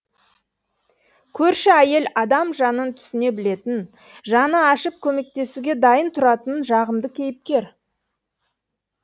көрші әйел адам жанын түсіне білетін жаны ашып көмектесуге дайын тұратын жағымды кейіпкер